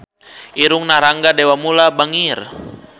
Irungna Rangga Dewamoela bangir